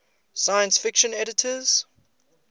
science fiction editors